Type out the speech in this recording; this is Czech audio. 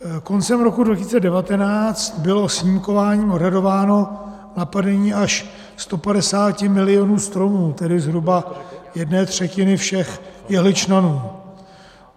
Koncem roku 2019 bylo snímkováním odhadováno napadení až 150 milionů stromů, tedy zhruba jedné třetiny všech jehličnanů.